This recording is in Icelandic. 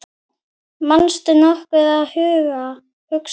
manstu nokkuð að hugsa